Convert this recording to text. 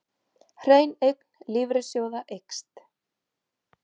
Hrein eign lífeyrissjóða eykst